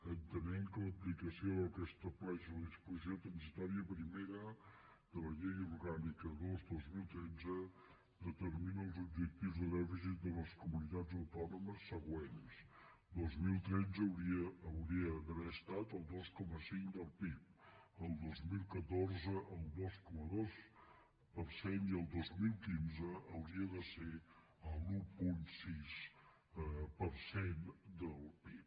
entenent que l’aplicació del que estableix la disposició transitòria primera de la llei orgànica dos dos mil tretze determina els objectius de dèficit de les comunitats autònomes següents dos mil tretze hauria d’haver estat el dos coma cinc del pib el dos mil catorze el dos coma dos per cent i el dos mil quinze hauria de ser l’un coma sis per cent del pib